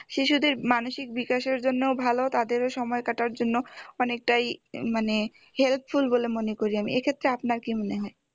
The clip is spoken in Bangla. শিশুদের মানসিক বিকাশের জন্যও ভালো তাদেরও সময় কাটার জন্য অনেকটাই মানে helpful বলে মনে করি আমি এক্ষেত্রে আপনার কি মনে হয়